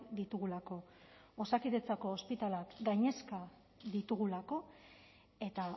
ditugulako osakidetzako ospitaleak gainezka ditugulako eta